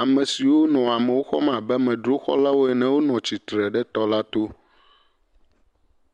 ame siwo nɔ amewo xɔm abe amedzroxɔlawo ene la wonɔ tsitre ɖe tɔ la to.